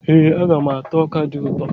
Ee, aga m ata ọka dị ụtọ.